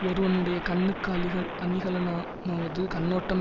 ஒருவனுடைய கண்ணுக்கு அளிக அணிகலனா மாவது கண்ணோட்டம்